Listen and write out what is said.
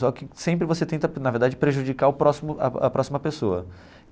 Só que sempre você tenta, na verdade, prejudicar o próximo a a próxima pessoa.